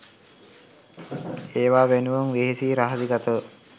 ඒවා වෙනුවෙන් වෙහසි රහසිගතව